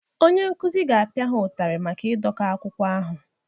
Onye nkụzi ga-apịa ha ụtarị maka ịdọka akwụkwọ ahụ